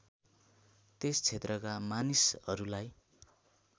त्यस क्षेत्रका मानिसहरूलाई